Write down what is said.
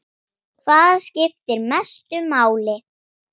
Hvað skiptir mestu máli?